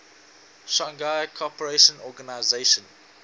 shanghai cooperation organization